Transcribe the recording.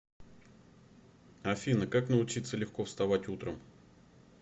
афина как научиться легко вставать утром